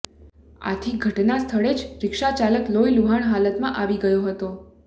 આથી ઘટનાસ્થળે જ રિક્ષાચાલક લોહીલુહાણ હાલતમાં આવી ગયો હતો